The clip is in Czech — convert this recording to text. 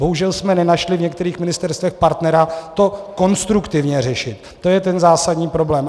Bohužel jsme nenašli v některých ministerstvech partnera to konstruktivně řešit, to je ten zásadní problém.